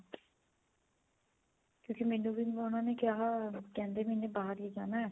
ਕਿਉਂਕਿ ਮੈਨੂੰ ਵੀ ਉਹਨਾ ਨੇ ਕਿਹਾ ਕਹਿੰਦੇ ਮੈਂ ਬਾਹਰ ਹੀ ਜਾਣਾ